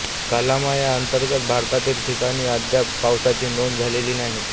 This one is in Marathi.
कालामा या अंतर्गत भागातील ठिकाणी अद्याप पावसाची नोंद झालेली नाही